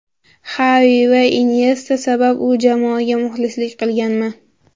Xavi va Inyesta sabab shu jamoaga muxlislik qilganman.